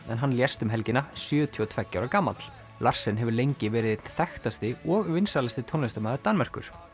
hann lést um helgina sjötíu og tveggja ára gamall larsen hefur lengi verið einn þekktasti og vinsælasti tónlistarmaður Danmerkur